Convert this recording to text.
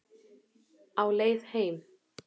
Á leið heim